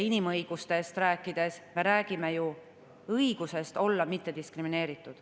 Inimõigustest rääkides me räägime ju õigusest olla mittediskrimineeritud.